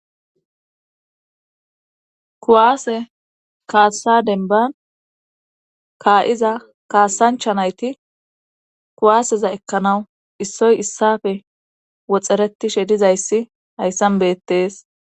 kuwaase kaassa denban kaa7iza kaasancha nayti kuwaaseza ekkanawu issoy issafe woxxeretishe dizayssi hayssan beettees